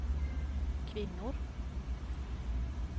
kvinnor